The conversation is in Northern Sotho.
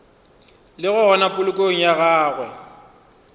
le gona polokong ya gagwe